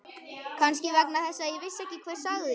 Kannski vegna þess að ég vissi ekki hver sagði.